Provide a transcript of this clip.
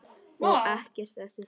Og ekkert eftir það.